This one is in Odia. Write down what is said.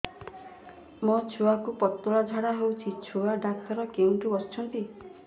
ମୋ ଛୁଆକୁ ପତଳା ଝାଡ଼ା ହେଉଛି ଛୁଆ ଡକ୍ଟର କେଉଁଠି ବସୁଛନ୍ତି